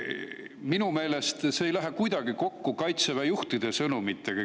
Minu meelest see ei lähe kuidagi kokku Kaitseväe juhtide sõnumitega.